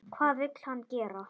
Hvað vill hann gera?